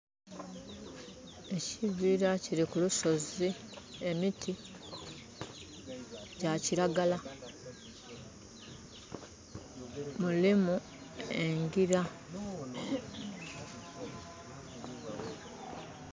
Ekibira kiri kulusozi, emiti gya kiragala mulimu enjira